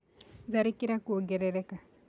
Tharĩkĩra kũongerereka